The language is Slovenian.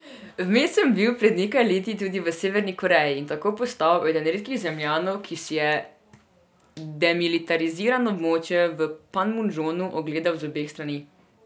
Vmes sem bil pred nekaj leti tudi v Severni Koreji in tako postal eden redkih Zemljanov, ki si je demilitarizirano območje v Panmundžonu ogledal z obeh strani.